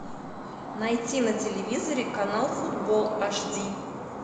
найти на телевизоре канал футбол аш ди